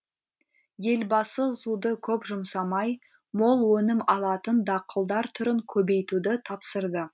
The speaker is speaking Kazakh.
елбасы суды көп жұмсамай мол өнім алатын дақылдар түрін көбейтуді тапсырды